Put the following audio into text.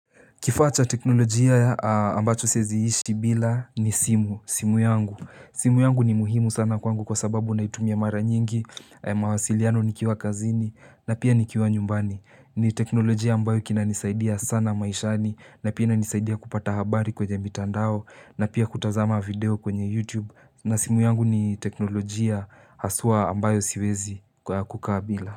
Kifaa cha teknolojia ambacho siezi ishi bila ni simu. Simu yangu. Simu yangu ni muhimu sana kwangu kwa sababu naitumia mara nyingi, mawasiliano nikiwa kazini na pia nikiwa nyumbani. Ni teknolojia ambayo kina nisaidia sana maishani na pia nisaidia kupata habari kwenye mitandao na pia kutazama video kwenye YouTube. Na simu yangu ni teknolojia haswa ambayo siwezi kukaa bila.